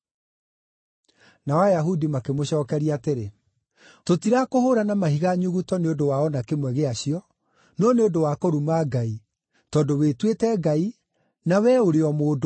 Nao Ayahudi makĩmũcookeria atĩrĩ, “Tũtirakũhũũra na mahiga nyuguto nĩ ũndũ wa o na kĩmwe gĩacio, no nĩ ũndũ wa kũruma Ngai, tondũ wĩtuĩte Ngai na wee ũrĩ o mũndũ.”